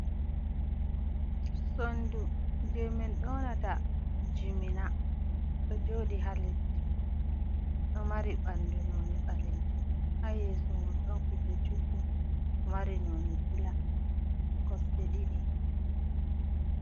Sondu je min yonata Jimina. Ɗo jodi ha leddi ɗo mari ɓandu noni ɓalejum ha yeso mon ɗon kuje juɗɗum ɗo mari noni bula kosɗe ɗiɗi.